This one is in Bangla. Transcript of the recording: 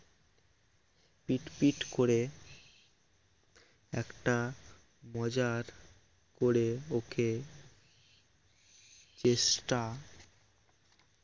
পিটপিট করে একটা মজার করে ওকে চেষ্টা